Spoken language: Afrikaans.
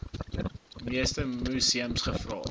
meeste museums gevra